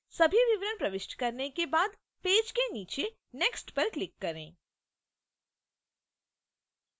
सभी विवरण प्रविष्ट करने के बाद पेज के नीचे next पर click करें